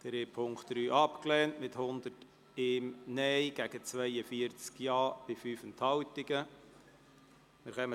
Die Ziffer 2 haben Sie mit 101 Nein- gegen 47 Ja-Stimmen bei 2 Enthaltungen abgelehnt.